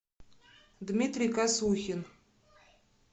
дмитрий косухин